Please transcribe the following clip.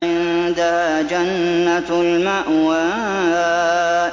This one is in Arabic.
عِندَهَا جَنَّةُ الْمَأْوَىٰ